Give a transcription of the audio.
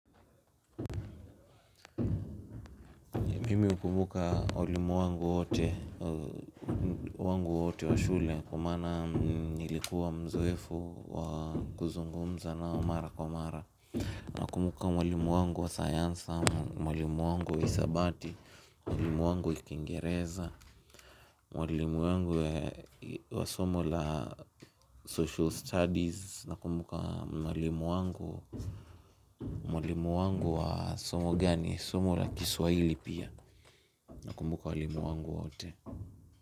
Mimi hukumbuka walimu wangu wote wa shule kwa maana nilikua mzoefu wa kuzungumza nao mara kwa mara nakumbuka mwalimu wangu wa sayansi, mwalimu wangu wa hisabati, mwalimu wangu wa kingereza mwalimu wangu wa somo la social studies, nakumbuka mwalimu wangu wa somo gani, somo la kiswaili pia nakumbuka walimu wangu wote.